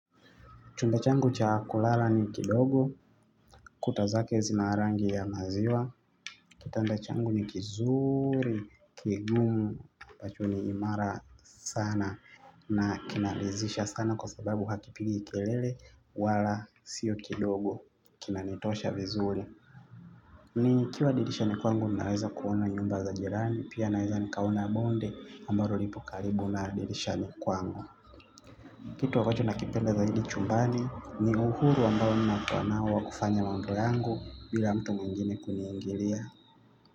Chumba changu cha kulala ni kidogo, kuta zake zina rangi ya maziwa, kitanda changu ni kizuri, kigumu, ambacho ni imara sana. Na kinaridhisha sana kwa sababu hakipigi kelele wala sio kidogo, kinanitosha vizuri. Nikiwa dirishani kwangu naweza kuona nyumba za jirani, pia naweza nikaona bonde ambalo lipo karibu na dirishani kwangu. Kitu ambacho nakipenda zaidi chumbani ni uhuru ambao ninakua nao kufanya mambo yangu bila mtu mwengine kuniingilia.